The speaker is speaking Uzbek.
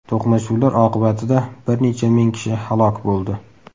To‘qnashuvlar oqibatida bir necha ming kishi halok bo‘ldi.